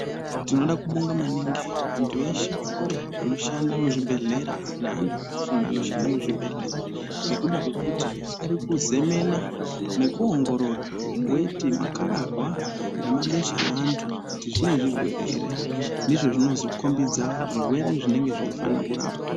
Tinoda kubonga maningi antu eshe anoshanda muzvibhedhlera neantu akafunda anoshanda muzvibhedhlera ngekuda kwekuti arikuzemena nekuongorora weti, makararwa nemabesha eantu kuti zvine zvirwere ere ndizvo zvinozokombidza zvirwere zvinenge zveifana kurapwa.